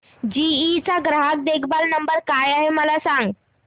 GE चा ग्राहक देखभाल नंबर काय आहे मला सांग